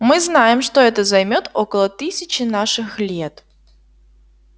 мы знаем что это займёт около тысячи наших лет